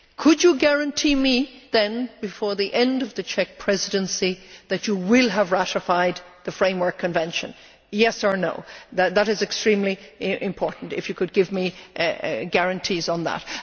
Could you guarantee me then that, before the end of the Czech Presidency, you will have ratified the framework convention yes or no? It would be extremely important if you could give me guarantees on that.